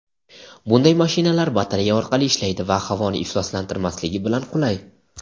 Bunday mashinalar batareya orqali ishlaydi va havoni ifloslantirmasligi bilan qulay.